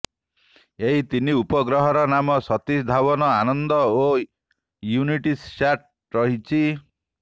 ଏହି ତିନି ଉପଗ୍ରହର ନାମ ସତୀଶ ଧାଓ୍ବନ ଆନନ୍ଦ ଓ ୟୁନିଟିସ୍ୟାଟ୍ ରହିଛି